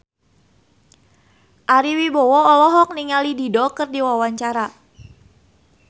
Ari Wibowo olohok ningali Dido keur diwawancara